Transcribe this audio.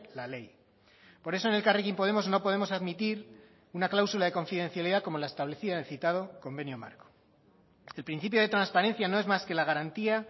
la ley por eso en elkarrekin podemos no podemos admitir una cláusula de confidencialidad como la establecida en el citado convenio marco el principio de transparencia no es más que la garantía